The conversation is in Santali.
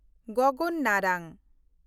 ᱜᱚᱜᱚᱱ ᱱᱟᱨᱟᱝ